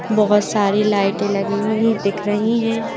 बहुत सारी लाइटें लगी हुई दिख रही हैं।